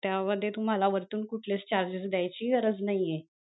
त्यामध्ये तुम्हाला वरतून कुठलेच charges देयची गरज नाहीये.